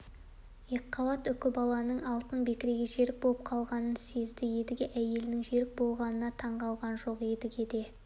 екіқабат үкібаланың алтын бекіреге жерік болып қалғанын сезді едіге әйелінің жерік болғанына таңғалған жоқ едіге де